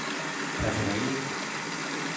personalet